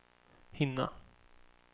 hinna